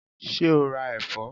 Ṣé o ra ẹ̀fọ́?